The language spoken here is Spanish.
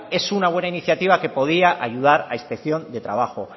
es una buena iniciativa que podría ayudar a inspección de trabajo